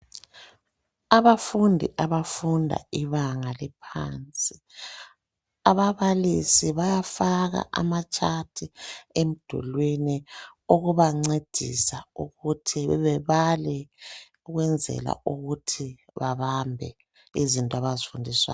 Abafundi abafunda ibanga eliphansi, ababalisi bayafaka ama chats emdulwini ukubancedisa ukuthi bebale ukwenzela ukuthi babambe izinto abazifundiswayo.